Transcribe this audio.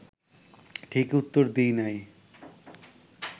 ঠিক উত্তর দিই নাই